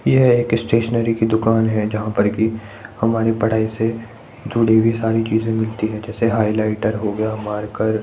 यह एक स्टेशनरी की दुकान है। जहाँ पर की हमारी पढाई से जुड़ी सारी चीजे मिलती है जैसे हाइलाइटर हो गया मार्कर --